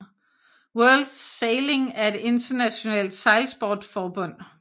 World Sailing er et internationalt sejlsportsforbund